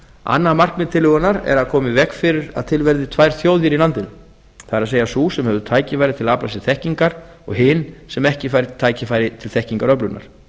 annað markmið tillögunnar er að koma í veg fyrir að til verði tvær þjóðir í landinu það er sú sem hefur tækifæri til þess að afla sér þekkingar og hin sem ekki fær tækifæri til þekkingaröflunar